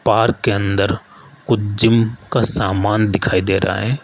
Park के अंदर कुछ जिम का सामान दिखाई दे रहा है।